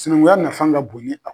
Sinankunya nafan ka bon ni